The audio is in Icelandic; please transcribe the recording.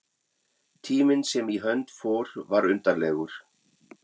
Tíminn sem í hönd fór var undarlegur.